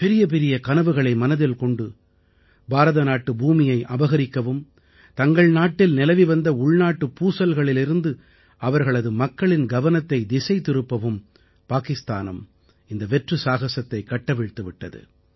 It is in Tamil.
பெரிய பெரிய கனவுகளை மனதில் கொண்டு பாரதநாட்டு பூமியை அபகரிக்கவும் தங்கள் நாட்டில் நிலவி வந்த உள்நாட்டுக் பூசல்களிலிருந்து அவர்களது மக்களின் கவனத்தைத் திசை திருப்பவும் பாகிஸ்தான் இந்த வெற்று சாகசத்தைக் கட்டவிழ்த்து விட்டது